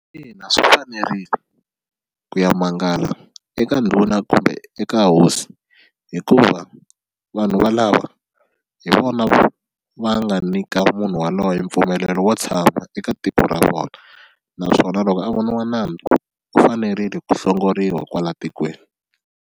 Ina, swi fanerile ku ya mangala eka ndhuna kumbe eka hosi hikuva vanhu valava hi vona va nga nyika munhu waloye mpfumelelo wo tshama eka tiko ra vona naswona loko a voniwa nandzu u fanerile ku hlongoriwa kwala tikweni.